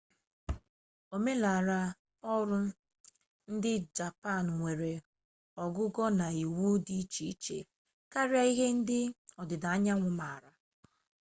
omenala ọrụ ndị japan nwere ogugo na iwu dị iche iche karịa ihe ndị ọdịda anyanwụ maara